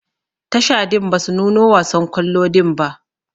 Tasha din basu nuno wasan kwallo din ba.